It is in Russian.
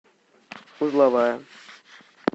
узловая